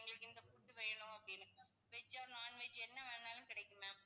எங்களுக்கு இந்த food வேணும் அப்படின்னு veg or non veg என்ன வேணுன்னாலும் கிடைக்கும் ma'am